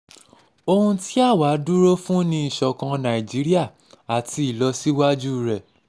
ohun um tí àwa dúró fún ni ìṣọ̀kan um nàìjíríà àti ìlọsíwájú rẹ̀